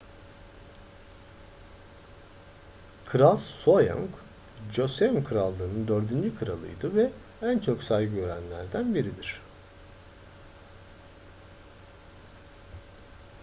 kral sejong joseon krallığı'nın dördüncü kralıydı ve en çok saygı görenlerden biridir